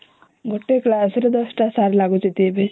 ଗୋଟେ କ୍ଲାସ ରେ ଦଶଟା ସାର ଲାଗୁଛନ୍ତି ଏବେ